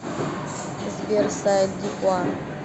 сбер сайт дихуа